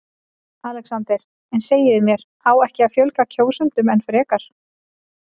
ALEXANDER: En segið mér: á ekki að fjölga kjósendum enn frekar?